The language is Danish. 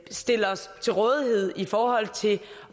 stille os til rådighed i forhold til